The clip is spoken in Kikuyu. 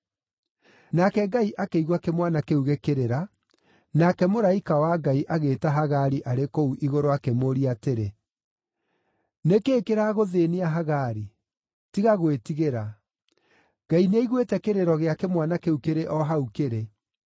Nake Ngai akĩigua kĩmwana kĩu gĩkĩrĩra, nake mũraika wa Ngai agĩĩta Hagari arĩ kũu igũrũ akĩmũũria atĩrĩ, “Nĩ kĩĩ kĩragũthĩĩnia Hagari? Tiga gwĩtigĩra; Ngai nĩaiguĩte kĩrĩro gĩa kĩmwana kĩu kĩrĩ o hau kĩrĩ.